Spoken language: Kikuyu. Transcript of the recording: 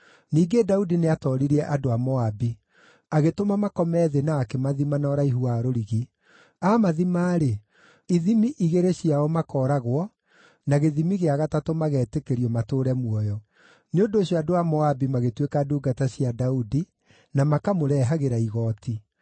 Ningĩ Daudi nĩatooririe andũ a Moabi. Agĩtũma makome thĩ na akĩmathima na ũraihu wa rũrigi. Aamathima-rĩ, ithimi igĩrĩ ciao makooragwo, na gĩthimi gĩa gatatũ mageetĩkĩrio matũũre muoyo. Nĩ ũndũ ũcio andũ a Moabi magĩtuĩka ndungata cia Daudi na makamũrehagĩra igooti.